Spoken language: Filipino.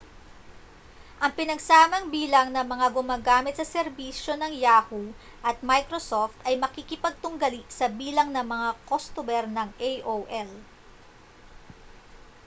ang pinagsamang bilang ng mga gumagamit sa serbisyo ng yahoo at microsoft ay makikipagtunggali sa bilang ng mga kostumer ng aol